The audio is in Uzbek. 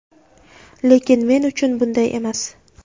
Lekin, men uchun bunday emas.